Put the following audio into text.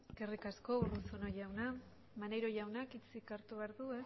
gabe eskerrik asko urruzuno jauna maneiro jaunak hitzik hartu behar du